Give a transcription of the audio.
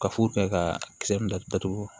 Ka fu kɛ ka kisɛ min datugu datugu